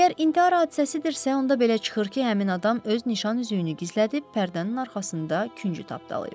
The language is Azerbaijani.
Əgər intihar hadisəsidirsə, onda belə çıxır ki, həmin adam öz nişan üzüyünü gizlədib, pərdənin arxasında küncü tapdalayıb.